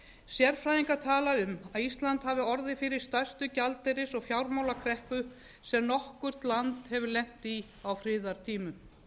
sérfræðingar tala um að ísland hafi orðið fyrir stærstu gjaldeyris og fjármálakreppu sem nokkurt land hafi lent í á friðartímum